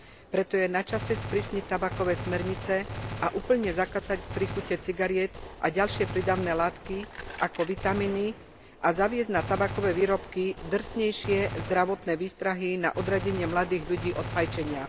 Preto je na čase sprísniť tabakové smernice a úplne zakázať príchute cigariet a ďalšie prídavné látky ako vitamíny a zaviesť na tabakové výrobky drsnejšie zdravotné výstrahy na odradenie mladých ľudí od fajčenia.